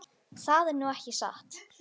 Það er nú ekki satt.